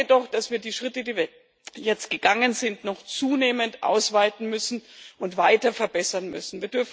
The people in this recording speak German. Ich glaube jedoch, dass wir die Schritte, die wir jetzt gegangen sind, noch zunehmend ausweiten und weiter verbessern müssen.